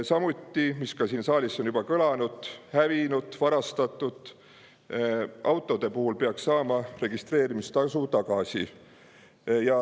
Samuti, nagu ka siin saalis on juba kõlanud, peaks hävinud ja varastatud autode puhul saama registreerimistasu tagasi.